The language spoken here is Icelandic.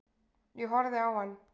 Ég horfði á hann.